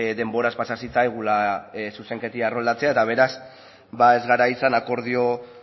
denboraz pasa zitzaigula zuzenketa erroldatzea eta beraz ba ez gara izan akordio